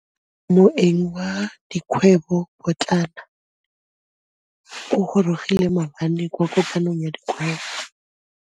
Moêng wa dikgwêbô pôtlana o gorogile maabane kwa kopanong ya dikgwêbô.